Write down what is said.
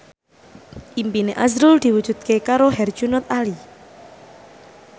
impine azrul diwujudke karo Herjunot Ali